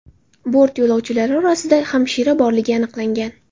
Bort yo‘lovchilari orasida hamshira borligi aniqlangan.